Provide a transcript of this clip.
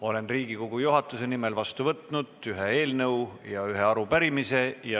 Olen Riigikogu juhatuse nimel vastu võtnud ühe eelnõu ja ühe arupärimise.